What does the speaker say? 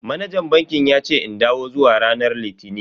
Manajan bankin yace in dawo zuwa ranar litini.